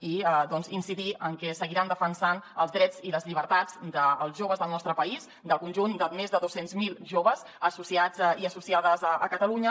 i incidir en que seguiran defensant els drets i les llibertats dels joves del nostre país del conjunt de més de dos cents miler joves associats i associades a catalunya